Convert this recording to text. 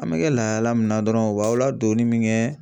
An bɛ kɛ lahala min na dɔrɔn u b'aw ladonni min kɛ